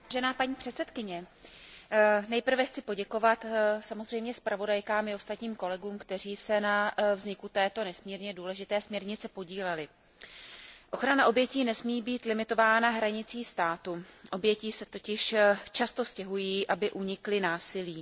Vážená paní předsedající, nejprve chci poděkovat samozřejmě zpravodajkám i ostatním kolegům, kteří se na vzniku této nesmírně důležité směrnice podíleli. Ochrana obětí nesmí být limitována hranicí státu, oběti se totiž často stěhují, aby unikly násilí.